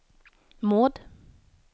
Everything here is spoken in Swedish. Maud